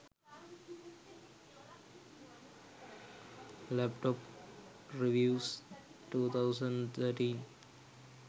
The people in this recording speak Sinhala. laptop reviews 2013